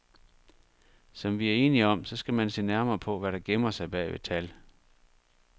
Som vi er enige om, så skal man se nærmere på, hvad der gemmer sig bag ved tal.